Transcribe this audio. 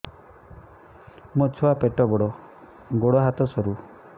ମୋ ଛୁଆ ପେଟ ବଡ଼ ଗୋଡ଼ ହାତ ସରୁ